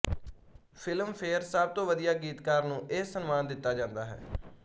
Filmfare ਸਭ ਤੋਂ ਵਧੀਆ ਗੀਤਕਾਰ ਨੂੰ ਇਹ ਸਨਮਾਨ ਦਿਤਾ ਜਾਂਦਾ ਹੈ